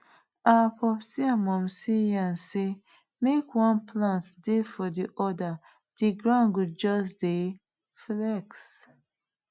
our popsi and momsi yarn say make one plant dey for the other the ground go just dey flex